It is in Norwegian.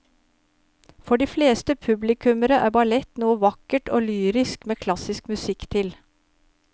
For de fleste publikummere er ballett noe vakkert og lyrisk med klassisk musikk til.